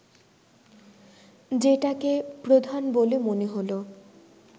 যেটাকে প্রধান বলে মনে হল